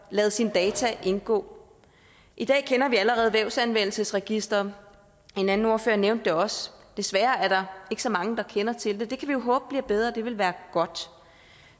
lader sine data indgå i dag kender vi allerede vævsanvendelsesregisteret en anden ordfører nævnte det også desværre er der så mange der kender til det det kan vi jo håbe bliver bedre det ville være godt